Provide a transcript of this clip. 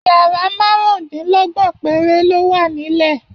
Yàrá márùndínlọ́gbọ̀n péré ló wà nílẹ̀